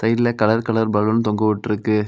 இதுல colour colour balloon தொங்கவிட்ருக்கு.